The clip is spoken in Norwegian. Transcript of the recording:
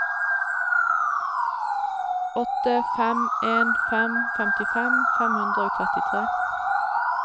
åtte fem en fem femtifem fem hundre og trettitre